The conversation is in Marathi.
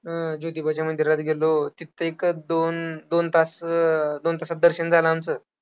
हम्म ज्योतिबाच्या मंदिरात गेलो, तिथे एक दोन, दोन तास, दोन तासात दर्शन झालं आमचं.